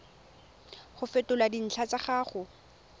go fetola dintlha tsa gago